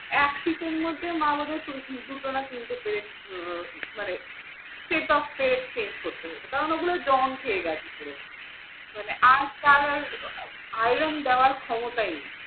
এক শীতের মধ্যে মা আমাকে দুইটি বা তিনটি chain ফেরত মানে সেই টবটাই change করতে হয়েছে কারণ ওগুলো জং খেয়ে গেছে পুরো। মানে আর তার iron দেওয়ার ক্ষমতাই নেই।